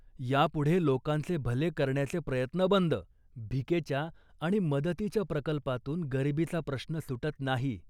यापुढे लोकांचे भले करण्याचे प्रयत्न बंद. भिकेच्या आणि मदतीच्या प्रकल्पातून गरिबीचा प्रश्न सुटत नाही